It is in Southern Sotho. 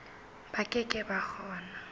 ba ke ke ba kgona